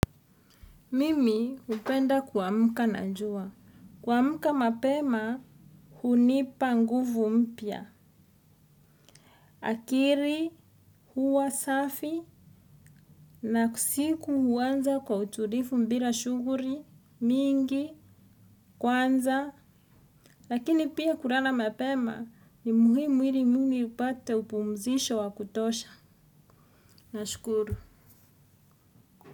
Mimi upenda kuamuka na njua. Kuamuka mapema hunipa nguvu mpya. Akiri huwa safi na siku uwanza kwa uturifu mbra shungri mingi kwanza lakini pia kulara mapema ni muhimu ili mwili upate upumzisho wa kutosha nashukuru.